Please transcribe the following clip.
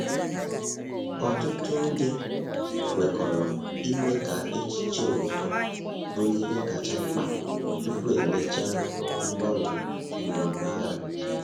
Ọtụtụ ndị kwekọrọ ime ka echiche obodo bụrụ ihe kacha mkpa tupu emechaa mgbanwe iwu mpaghara.